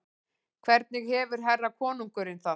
Hvernig hefur herra konungurinn það?